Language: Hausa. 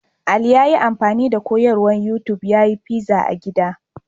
Ali ya yi amfani da koyarwar YouTub ya yi fiza a gida.